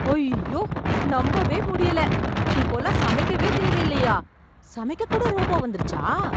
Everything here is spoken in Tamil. அய்யோ ! நம்பவே முடியல. இப்போலாம் சமைக்கவே தேவையில்லயா ! சமைக்கக் கூட ரோபா வந்துருச்சா !